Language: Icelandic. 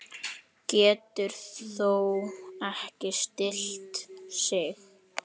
Getur þó ekki stillt sig.